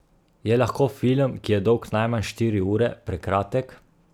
Je lahko film, ki je dolg najmanj štiri ure, prekratek?